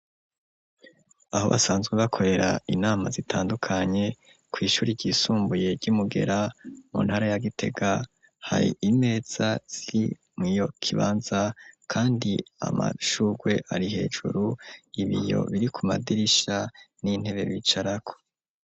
Aho basanzwe bakorera inama zitandukanye kw ishuri ryisumbuye ryi Mugera mu ntara ya gitega hari imeza mu iyo kibanza kandi amashurwe ari hejuru ibiyo biri ku madirisha n'intebe bicarako.